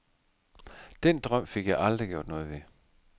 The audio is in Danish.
Den drøm fik jeg aldrig gjort noget ved.